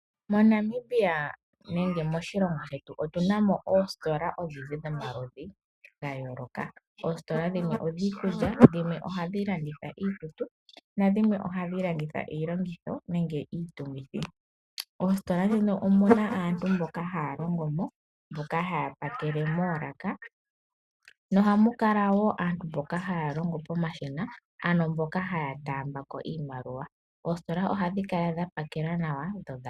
MoNamibia nenge moshilongo shetu otuna mo oositola odhindji dhomaludhi gayooloka. Oositola dhimwe odhiikulya dhimwe ohadhi landitha iikutu nadhimwe ohadhi landitha iilongitho nenge iitungithi. Oositola dhino omuna aantu mboka haya longomo mboka haya pakele moolaka nohamukala aantu mboka haya longo pomashina mboka haya taambako iimaliwa. Oositola ohadhikala dhapakela nawa.